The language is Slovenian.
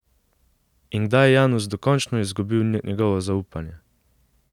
In kdaj je Janus dokončno izgubil njegovo zaupanje?